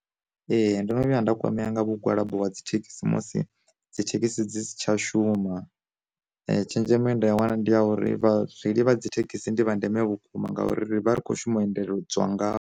Ee ndono vhuya nda kwamea nga mugwalabo wa dzi thekhisi musi dzithekhisi dzi si tsha shuma, tshenzhemo ye nda wana ndi ya uri vha reili vha dzi thekhisi ndi zwa ndeme vhukuma ngauri ri vha ri khou shuma endela dzwa nga vho.